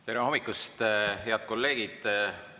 Tere hommikust, head kolleegid!